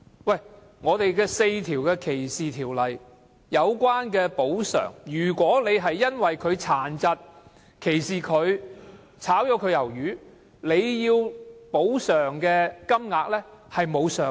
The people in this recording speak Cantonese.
香港的4項反歧視條例訂明，如果資方因為歧視某員工殘疾而解僱他，需要支付的補償金額並無上限。